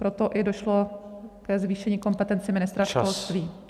Proto i došlo ke zvýšení kompetencí ministra školství.